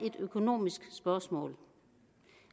et økonomisk spørgsmål